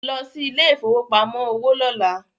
Lọ sí ilẹ̀ ìfowópamọ́ òwò lọ́lá